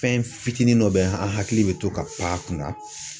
Fɛn fitinin dɔ bɛ an hakili bɛ to ka a kunna.